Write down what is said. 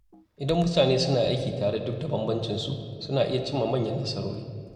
Idan mutane suna aiki tare duk da bambancin su, suna iya cimma manyan nasarori.